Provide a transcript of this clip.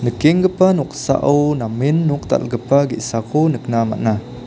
kenggipa noksao namen nok dal·gipa ge·sako nikna man·a.